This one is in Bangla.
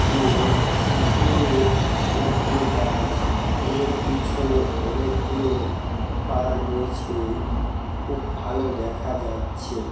যে পুকুরে অনেকগুলো গাছ এবং পিছনে অনেকগুলো পাহাড় রয়েছে খুব ভালো দেখা যাচ্ছে ।